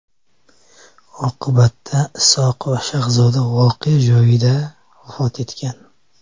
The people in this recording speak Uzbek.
Oqibatda Isoqova Shahzoda voqea joyida vafot etgan.